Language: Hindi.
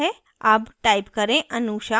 अब type करें anusha